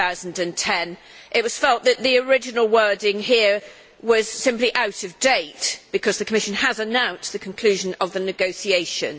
2010'. It was felt that the original wording here was simply out of date because the Commission has announced the conclusion of the negotiations.